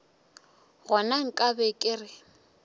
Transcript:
gona nka be ke re